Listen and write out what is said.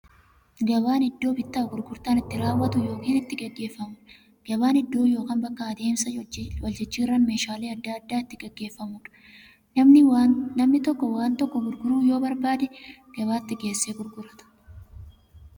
Gabaan iddoo bittaaf gurgurtaan itti raawwatu yookiin itti gaggeeffamuudha. Gabaan iddoo yookiin bakka adeemsa waljijjiiraan meeshaalee adda addaa itti gaggeeffamuudha. Namni tokko waan tokko gurguruu yoo barbaade, gabaatti geessee gurgurata.